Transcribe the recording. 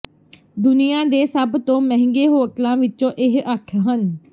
ਦੁਨੀਆਂ ਦੇ ਸਭ ਤੋਂ ਮਹਿੰਗੇ ਹੋਟਲਾਂ ਵਿੱਚੋਂ ਇਹ ਅੱਠ ਹਨ